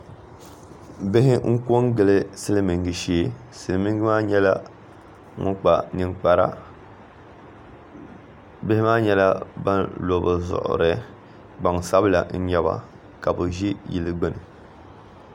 Bihi n ko n gili silmiingi shee silmiingi maa nyɛla ŋun kpa ninkpara bihi maa nyɛla ban lo bi zuɣuri gbansabila n nyɛba ka bi ʒi yili gbuni